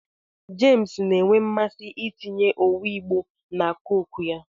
James na-enwe mmasị itinye owu Igbo na Coke ya